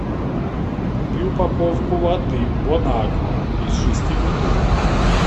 купи упаковку воды бон аква из шести бутылок